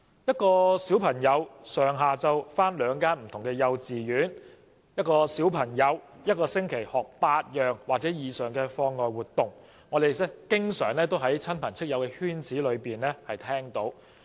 一位小朋友上下午到兩間不同的幼稚園上學，或一個星期參加8項或以上的課外活動，這些都是我們經常在親朋戚友的圈子裏聽見的傳聞。